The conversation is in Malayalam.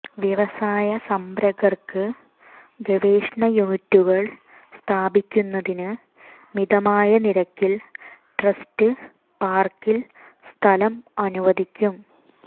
വ്യവസായ സംരംഭകർക്ക് ഗവേഷണ യൂണിറ്റുകൾ സ്ഥാപിക്കുന്നതിന് മിതമായ നിരക്കിൽ ട്രെസ്റ്റ് പാർക്കിൽ സ്ഥലം അനുവദിക്കും